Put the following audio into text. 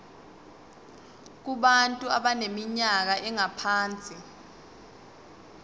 kubantu abaneminyaka engaphansi